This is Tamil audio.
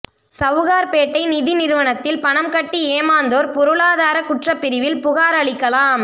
சவுகார்பேட்டை நிதி நிறுவனத்தில் பணம் கட்டி ஏமாந்தோர் பொருளாதார குற்றப்பிரிவில் புகார் அளிக்கலாம்